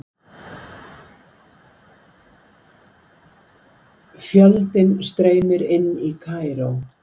Fjöldinn streymir inn í Kaíró